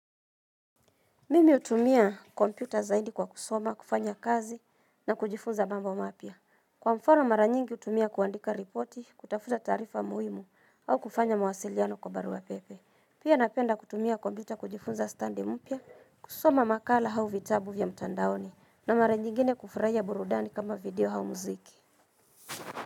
Mimi utumia kompyuta zaidi kwa kusoma, kufanya kazi na kujifunza mambo mapia. Kwa mfano mara nyingi utumia kuandika ripoti, kutafuta tarifa muhimu au kufanya mawasiliano kwa barua pepe. Pia napenda kutumia kompyuta kujifunza standi mpia, kusoma makala hau vitabu vya mtandaoni na mara nyingine kufuraya burudani kama video hau muziki.